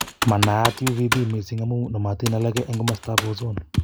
Manaat uvb mising amu namotin alake eng' komastab ozone